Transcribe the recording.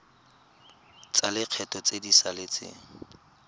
tsa lekgetho tse di saletseng